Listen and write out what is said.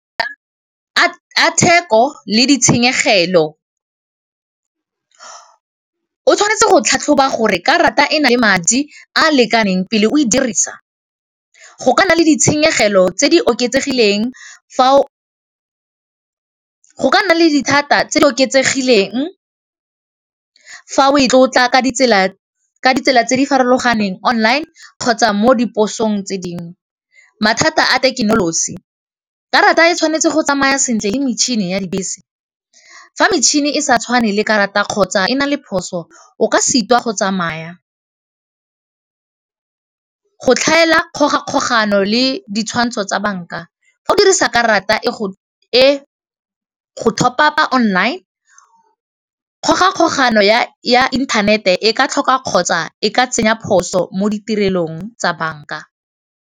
a theko le ditshenyegelo o tshwanetse go tlhatlhoba gore ka rata e na le madi a lekaneng pele o e dirisa go ka nna le ditshenyegelo tse di oketsegileng fa o tlotla ka ditsela tse di farologaneng online kgotsa mo diphosong tse dingwe, mathata a thekenoloji karata e tshwanetse go tsamaya sentle le metšhini ya dibese fa metšhini e sa tshwane le karata kgotsa e na le phoso o ka sitwa go tsamaya go tlhaela dikgoga kgogano le di ntsho tsa banka fa o dirisa karata e go tlhophapa online kgogakgogano ya internet-e ka tlhoka kgotsa e ka tsenya phoso mo tirelong tsa bank-a.